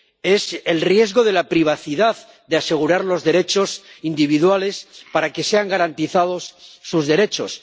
es el riesgo de la privacidad, de asegurar los derechos de los individuos para que sean garantizados sus derechos.